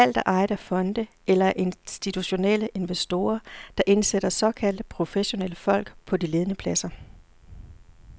Alt er ejet af fonde eller af institutionelle investorer, der indsætter såkaldte professionelle folk på de ledende pladser.